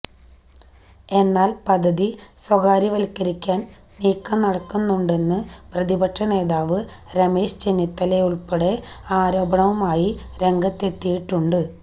എന്നാല് പദ്ധതി സ്വകാര്യവല്ക്കരിക്കാന് നീക്കം നടക്കുന്നുണ്ടെന്ന പ്രതിപക്ഷ നേതാവ് രമേശ് ചെന്നിത്തല ഉള്പ്പടെ ആരോപണവുമായി രംഗത്തെത്തിയിട്ടുണ്ട്